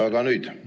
Aga nüüd?